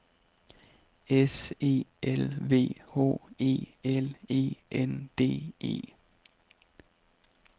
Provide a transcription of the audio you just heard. S E L V H E L E N D E